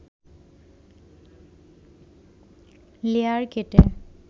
layer কেটে